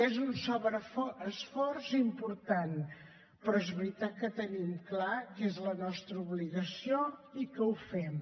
és un sobreesforç important però és veritat que tenim clar que és la nostra obligació i ho fem